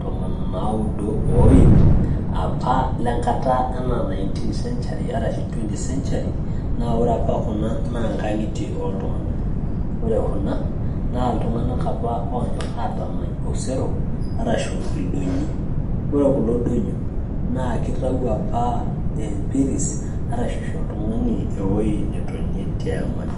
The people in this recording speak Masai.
tomon onaudo o iip apa lenkata enaa 19 century arashu 20 century naa ore apa kuna naa nkang'itie oltung'anak ore kuna naa iltung'anak apa onyorr atamany osero arashu ildonyiok ore kulo donyio naa kitau apa empiris arashu isho oltung'ani ewoi netonie te amani